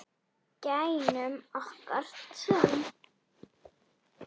Gæjunum okkar tveim.